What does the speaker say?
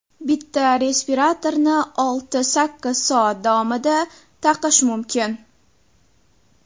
Bitta respiratorni olti-sakkiz soat davomida taqish mumkin.